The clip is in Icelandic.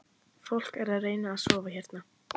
Fólk er að reyna að sofa hérna